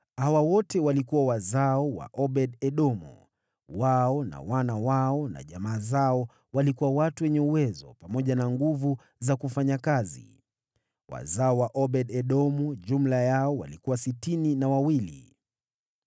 Hawa wote walikuwa wazao wa Obed-Edomu; wao na wana wao na jamaa zao walikuwa watu wenye uwezo pamoja na nguvu za kufanya kazi. Wazao wa Obed-Edomu jumla yao walikuwa sitini na wawili.